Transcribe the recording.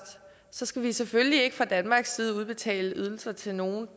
så skal vi selvfølgelig ikke fra danmarks side udbetale ydelser til nogen